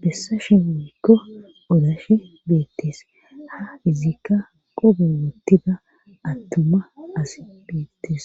bessa shehubikko odashe beettes ha izikka qobewotida attuma as beettes